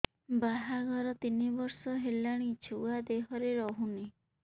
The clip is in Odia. ବାହାଘର ତିନି ବର୍ଷ ହେଲାଣି ଛୁଆ ଦେହରେ ରହୁନି